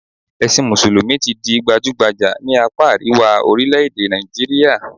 Ẹ̀sìn mùsùlùmí ti di gbajúgbajà ní àpá àríwá orílẹ̀-èdè Nàìjíríà